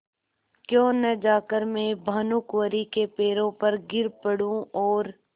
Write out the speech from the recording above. क्यों न जाकर मैं भानुकुँवरि के पैरों पर गिर पड़ूँ और